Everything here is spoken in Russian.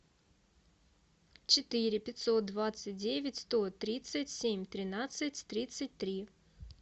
четыре пятьсот двадцать девять сто тридцать семь тринадцать тридцать три